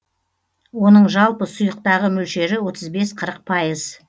оның жалпы сұйықтағы мөлшері отыз бес қырық пайыз